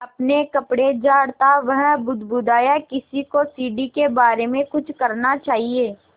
अपने कपड़े झाड़ता वह बुदबुदाया किसी को सीढ़ी के बारे में कुछ करना चाहिए